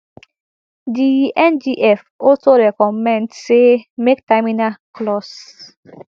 di ngf also recommend say make terminal clause